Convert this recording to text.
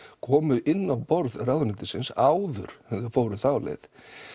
komu inn á borð ráðuneytisins áður en þau fóru þá leið